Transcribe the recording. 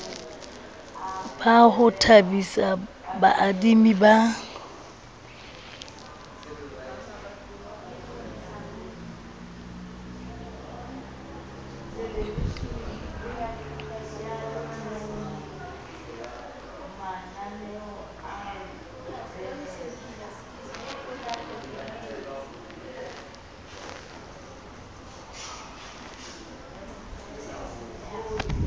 ba ho thabisa baadimi ba